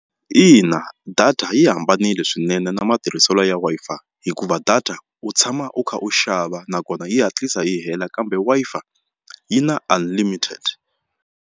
Ina data yi hambanile swinene na matirhiselo ya Wi-Fi hikuva data u tshama u kha u xava nakona yi hatlisa yi hela kambe Wi-Fi yi na unlimited.